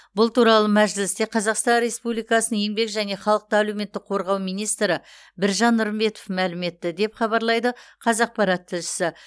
бұл туралы мәжілісте қазақстан республикасының еңбек және халықты әлеуметтік қорғау министрі біржан нұрымбетов мәлім етті деп хабарлайды қазақпарат тілшісі